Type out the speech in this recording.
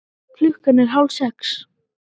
Klukkan er hálfsex.